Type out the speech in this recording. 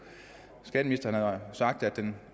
skatteministeren har sagt at den